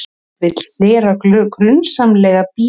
Vill hlera grunsamlega bíla